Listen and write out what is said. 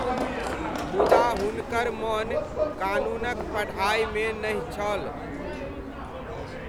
मुदा हुनकर मन कानूनक पढ़ाइमे नहि छल।